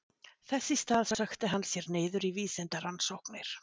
Þess í stað sökkti hann sér niður í vísindarannsóknir.